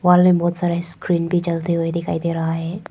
Hall में बहुत सारा स्क्रीन भी जलते हुए दिखाई दे रहा है।